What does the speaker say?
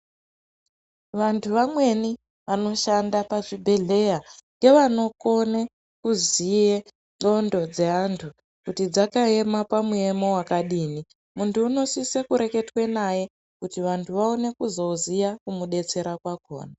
Vantu vamweni vanoshanda pazvibhedhlera ngevanokone kuziye ndxondo dzevantu kuti dzakaema pamuyemo wakadini , muntu unosise kureketwe naye kuti vantu vaone kuzoziya kumudetsera kwakona.